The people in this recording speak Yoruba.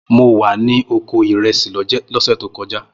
Mo wà ní oko ìrẹsì lọ́sẹ̀ tó kojá